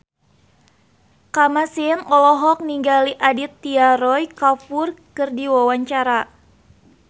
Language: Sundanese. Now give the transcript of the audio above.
Kamasean olohok ningali Aditya Roy Kapoor keur diwawancara